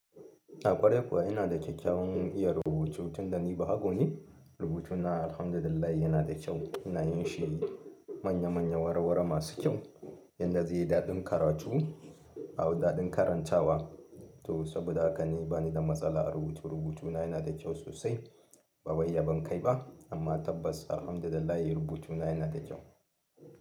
Ah ƙware kuwa ina da kyakkyawan iya rubutu. Tunda ni bahago ne, rubutuna Alhamdulillah yana da kyau. Ina yin shi manya-manya, warwara masu kyau yanda zai yi daɗin karatu awu daɗin karanta wa. To saboda haka ni bani da matsala a rubutu. Rubutuna yana da kyau sosai. Bawai yabon kai ba, amma tabbas Alhamdulillah rubutu na yana da kyau.